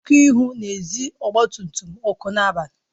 Ọku ihu na-ezi ọgba tum tum ọkụ n'abalị